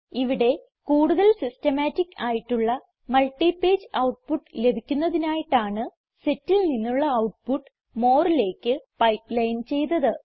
ഇവിടെ കൂടുതൽ സിസ്റ്റമാറ്റിക് ആയിട്ടുള്ള മൾട്ടിപേജ് ഔട്ട്പുട്ട് ലഭിക്കുന്നതിനായിട്ടാണ് setൽ നിന്നുള്ള ഔട്ട്പുട്ട് moreലേക്ക് പൈപ്പ്ലൈൻ ചെയ്തത്